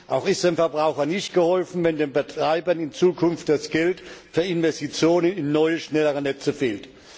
Auch ist dem Verbraucher nicht geholfen, wenn den Betreibern in Zukunft das Geld für Investitionen in neue, schnellere Netze fehlt.